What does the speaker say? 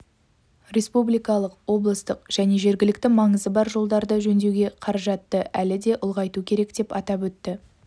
республикалық облыстық және жергілікті маңызы бар жолдарды жөндеуге қаражатты әлі де ұлғайту керек деп атап өтті